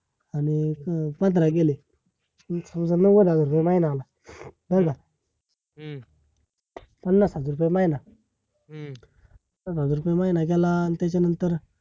आणी पंधरा गेले नव्वद हजार रुपये महिना आला, नाय का? पन्नास हजार रुपये महिना पन्नास हजार रुपये महिना गेला? आणि त्यानंतर!